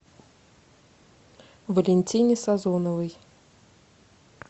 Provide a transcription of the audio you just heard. валентине сазоновой